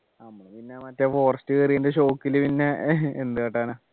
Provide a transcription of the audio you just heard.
നമ്മള് പിന്നെ മറ്റേ forest കയറിയതിൻ്റെ shock ൽ പിന്നെ എന്ത് കാട്ടാന